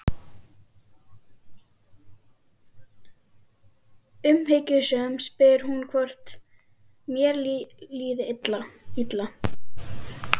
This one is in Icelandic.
Umhyggjusöm spyr hún hvort mér líði illa.